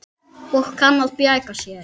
Og kann að bjarga sér.